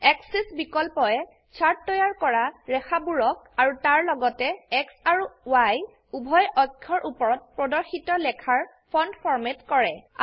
আশিচ বিকল্পয়ে চাৰ্ট তৈয়াৰ কৰা ৰেখাবোৰকআৰু তাৰলগতে X আৰু Y উভয় অক্ষৰ উপৰত প্ৰদৰ্শিত লেখাৰ ফন্ট ফৰম্যাট কৰে